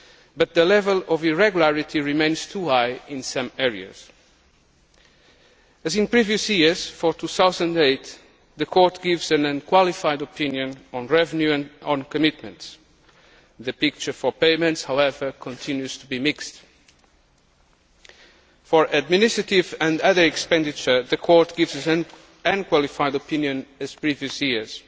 But the level of irregularity remains too high in some areas. As in previous years, for 2008, the Court gives an unqualified opinion on Revenue and on commitments. The picture for payments, however, continues to be mixed. For Administrative and other expenditure, the Court gives an unqualified opinion as in previous years.